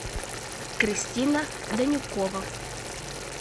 кристина данюкова